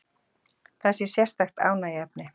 Það sé sérstakt ánægjuefni